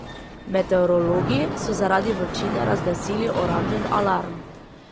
Meteorologi so zaradi vročine razglasili oranžen alarm.